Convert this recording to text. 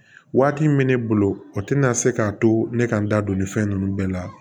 Waati min bɛ ne bolo o tɛna se k'a to ne ka n da don nin fɛn ninnu bɛɛ la